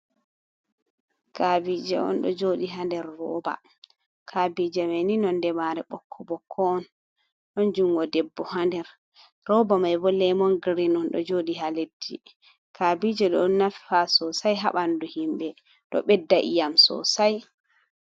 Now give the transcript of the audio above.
Kaabiije on ɗo jooɗi ha nder rooba, kaabiije mai ni nonde maare ɓokko-ɓokko on, ɗon jungo debbo ha nder, rooba mai bo lemon girin on ɗo jooɗi ha leddi. Kaabiije ɗon nafa soosai ha ɓandu himɓe, ɗo ɓedda ii'am soosai.